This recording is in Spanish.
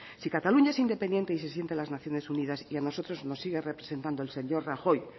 si cataluña es independiente y se sienta en las naciones unidas y a nosotros nos sigue representando el señor rajoy